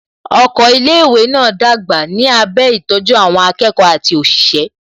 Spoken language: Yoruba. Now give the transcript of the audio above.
Oko ilé ìwé náà dàgbà ní abẹ́ ìtọ́jú àwọn akẹ́kọ̀ọ́ àti òṣìṣẹ́